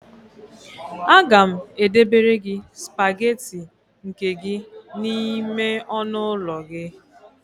Aga m edebere gị spagetị nke gị n'ime ọnụụlọ gị